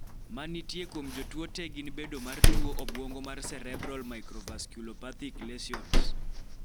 manitie kuom jotuo te gin bedo mar tuo obwongo mar cerebral microvasculopathic lesions